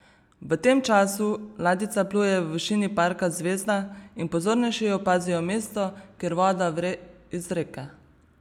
V tem času ladjica pluje v višini parka Zvezda in pozornejši opazijo mesto, kjer voda vre iz reke.